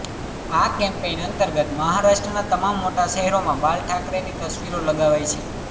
આ કેમ્પેઈન અંતર્ગત મહારાષ્ટ્રના તમામ મોટા શહેરોમાં બાલ ઠાકરેની તસવીરો લગાવાઈ છે